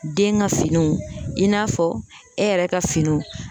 Den ka finiw i n'a fɔ e yɛrɛ ka finiw